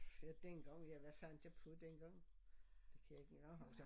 Ja dengang ja hvad fandt jeg på den gang det kan jeg ikke engang huske